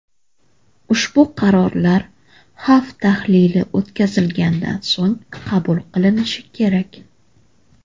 Ushbu qarorlar xavf tahlili o‘tkazilgandan so‘ng qabul qilinishi kerak.